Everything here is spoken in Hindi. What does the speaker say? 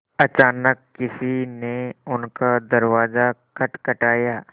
अचानक किसी ने उनका दरवाज़ा खटखटाया